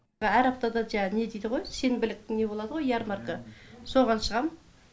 әр аптада жаңа не дейді ғой сенбілік не болады ғой ярмарка соған шығам